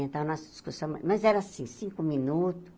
Então, nós discussamos, mas era assim, cinco minutos.